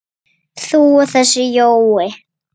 Hvernig virkar þetta?